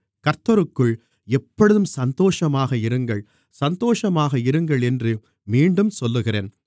கர்த்தருக்குள் எப்பொழுதும் சந்தோஷமாக இருங்கள் சந்தோஷமாக இருங்கள் என்று மீண்டும் சொல்லுகிறேன்